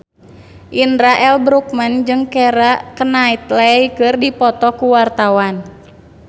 Indra L. Bruggman jeung Keira Knightley keur dipoto ku wartawan